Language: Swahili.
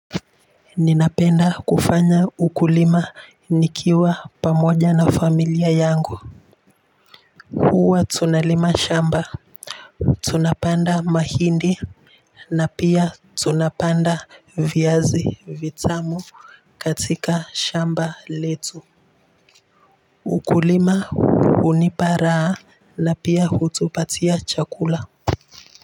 Ninapenda kufanya ukulima nikiwa pamoja na familia yangu uwa tunalima shamba. Tunapanda mahindi na pia tunapanda viazi vitamu katika shamba letu ukulima uniparaa na pia hutupatia chakula.